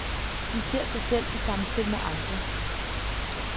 De ser sig selv i samspil med andre.